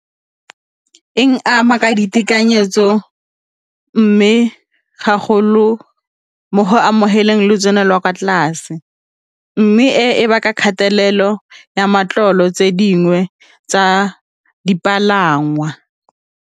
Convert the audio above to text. E ama ka ditekanyetso mme haholo mo go amogelang lotseno lwa kwa tlase mme e baka kgatelelo ya matlolo tse dingwe tsa dipalangwa.